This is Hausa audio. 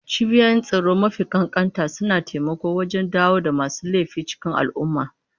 Cibiyoyin tsaro mafi ƙanƙanta suna taimakawa wajen dawo da masu laifi cikin al'umma.